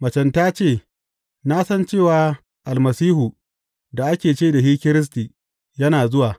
Macen ta ce, Na san cewa Almasihu da ake ce da shi Kiristi yana zuwa.